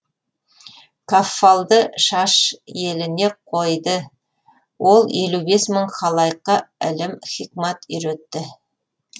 каффалды шаш еліне қойды ол елу бес мың халайыққа ілім хикмат үйретті